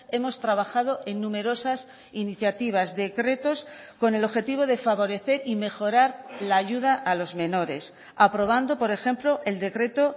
hemos trabajado en numerosas iniciativas decretos con el objetivo de favorecer y mejorar la ayuda a los menores aprobando por ejemplo el decreto